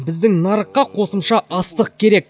біздің нарыққа қосымша астық керек